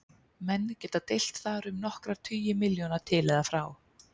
Menn geta deilt þar um nokkra tugi milljóna til eða frá.